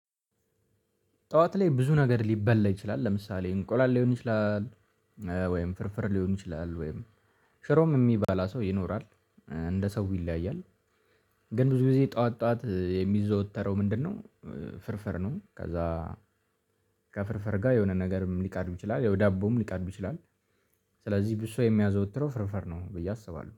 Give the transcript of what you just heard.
ጠዋት ላይ ብዙ ነገር ሊበላ ይችላል ለምሳሌ እንቁላል ሊሆን ይችላል። ወይም ፍርፍር ሊሆን ይችላል ወይም ሽሮም የሚባላ ሰው ይኖራል እንደ ሰው ይለያያል። ግን ብዙ ጊዜ ጠዋት ጠዋት የሚዘወተረው ምንድነው? ፍርፍር ነው። ከዛ ከፍርፍር ጋር የሆነ ነገርም ሊቀርብ ይችላል ዳቦም ሊቀርብ ይችላል። ስለዚህ ብዙ ሰው የሚያዘወትረው ፍርፍር ነው ብዬ አስባለሁ